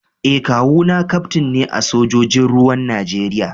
Eh kawu na kaftin ne a sojojin ruwan Najeriya